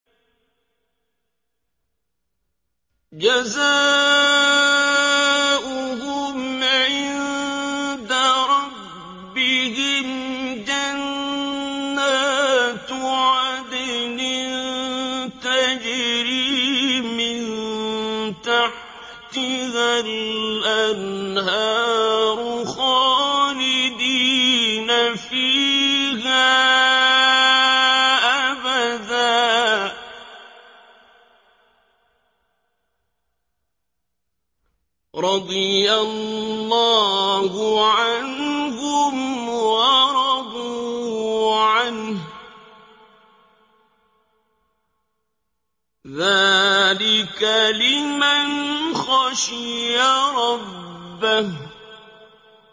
جَزَاؤُهُمْ عِندَ رَبِّهِمْ جَنَّاتُ عَدْنٍ تَجْرِي مِن تَحْتِهَا الْأَنْهَارُ خَالِدِينَ فِيهَا أَبَدًا ۖ رَّضِيَ اللَّهُ عَنْهُمْ وَرَضُوا عَنْهُ ۚ ذَٰلِكَ لِمَنْ خَشِيَ رَبَّهُ